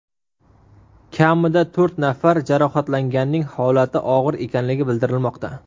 Kamida to‘rt nafar jarohatlanganning holati og‘ir ekanligi bildirilmoqda.